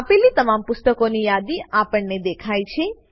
આપેલી તમામ પુસ્તકોની યાદી આપણને દેખાય છે